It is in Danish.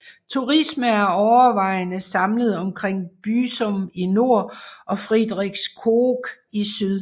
Turisme er overvejende samlet omkring Büsum i nord og Friedrichskoog i syd